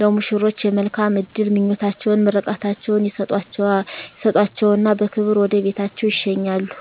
ለሙሽሮች የመልካም እድል ምኞታቸዉን ምርቃታቸዉን ይሰጧቸዉና በክብር ወደ ቤታቸዉ ይሸኛሉ